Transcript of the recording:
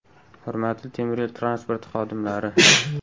Hurmatli temir yo‘l transporti xodimlari!